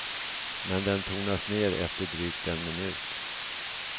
Men den tonas ner efter drygt en minut.